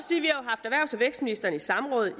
vækstministeren i samråd